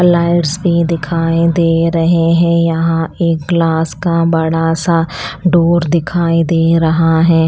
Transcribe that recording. Lights भी दिखाई दे रहे हैं यहाँ एक ग्लास का बड़ा सा डोर दिखाई दे रहा है।